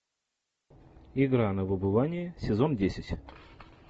игра на выбывание сезон десять